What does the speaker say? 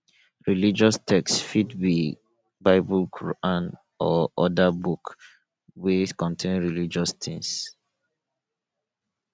religious text fit be bible quran or oda book wey contain religious things